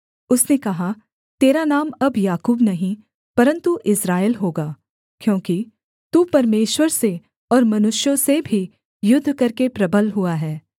उसने कहा तेरा नाम अब याकूब नहीं परन्तु इस्राएल होगा क्योंकि तू परमेश्वर से और मनुष्यों से भी युद्ध करके प्रबल हुआ है